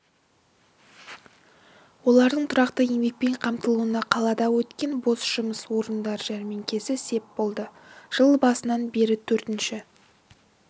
олардың тұрақты еңбекпен қамтылуына қалада өткен бос жұмыс орындар жәрмеңкесі сеп болды жыл басынан бері төртінші